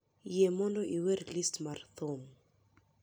yie mondo iwer list mara mar thum